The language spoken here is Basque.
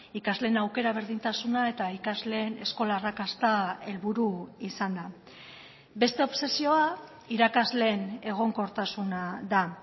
ikasleen aukera berdintasuna eta ikasleen eskola arrakasta helburu izanda beste obsesioa irakasleen egonkortasuna da